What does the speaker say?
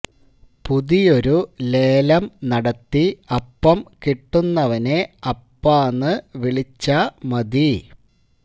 പുതിയൊരു ലേലം നടത്തി അപ്പം കിട്ടുന്നവനെ അപ്പാന്ന് വിളിച്ചാ മതി